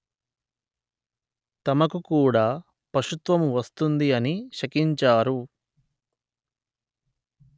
తమకు కూడా పశుత్వము వస్తుంది అని శకించారు